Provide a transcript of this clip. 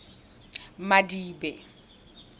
madibe